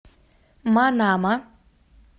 манама